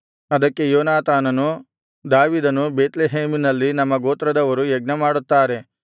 ಅದಕ್ಕೆ ಯೋನಾತಾನನು ದಾವೀದನು ಬೇತ್ಲೆಹೇಮಿನಲ್ಲಿ ನಮ್ಮ ಗೋತ್ರದವರು ಯಜ್ಞಮಾಡುತ್ತಾರೆ